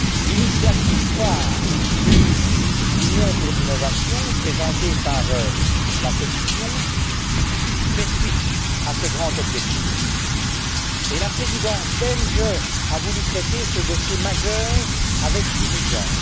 L'initiative phare sur une Union pour l'innovation présentée par la Commission fait suite à ce grand objectif et la Présidence belge a voulu traiter ce dossier majeur avec diligence.